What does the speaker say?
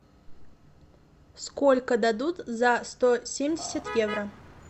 сколько дадут за сто семьдесят евро